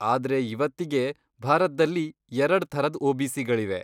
ಆದ್ರೆ ಇವತ್ತಿಗೆ, ಭಾರತ್ದಲ್ಲಿ ಎರಡ್ ಥರದ್ ಒ.ಬಿ.ಸಿ.ಗಳಿವೆ.